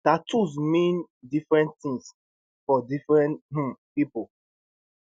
tattoos mean different tins for different um pipo